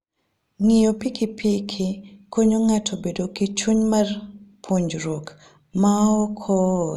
Ng'iyo pikipiki konyo ng'ato bedo gi chuny mar puonjruok maok ool.